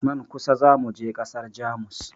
Nan kusa za mu je ƙasar Jamus.